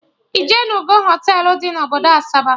Ijenugo Họtelụ dị na obodo Asaba?